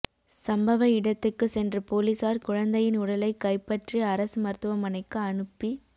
சம்பவ இடத்துக்கு சென்ற போலீசார் குழந்தையின் உடலைக் கைப்பற்றி அரசு மருத்துவமனைக்கு அனுப்பி